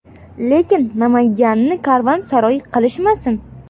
Lekin Namanganni karvonsaroy qilishmasin.